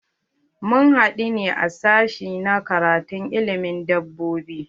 Mun haɗu ne a sashi na karatun ilimin dabbobi.